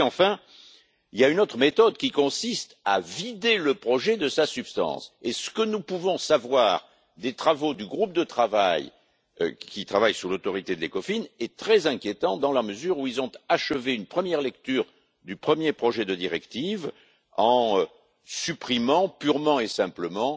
Enfin, il y a une autre méthode qui consiste à vider le projet de sa substance, et ce que nous pouvons savoir des travaux du groupe de travail, qui travaille sous l'autorité de l'ECOFIN, est très inquiétant dans la mesure où ils ont achevé une première lecture du premier projet de directive, en supprimant purement et simplement